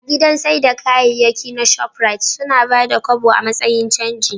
A gidan saida kayayyaki na shoprite, suna Bada kobo a matsayin canji